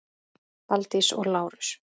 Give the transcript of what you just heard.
Valdís og Lárus.